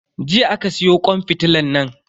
Jiya aka siyo kwan fitilan nan.